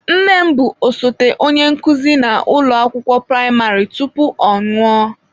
Nne m bụ osote onye nkụzi na ụlọ akwụkwọ praịmarị tupu ọ anwụọ.